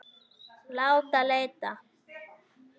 Láta leita.